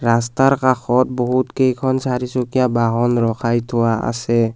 ৰাস্তাৰ কাষত বহুত কেইখন চাৰিচুকীয়া বাহন ৰখাই থোৱা আছে।